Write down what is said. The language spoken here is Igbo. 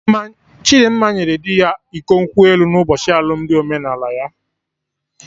Chidimma nyere dị ya iko nkwụ elu na ụbochi alụmdi omenala ya